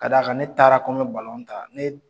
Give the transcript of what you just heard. Ka da kan ne taara ko n bɛ ta ne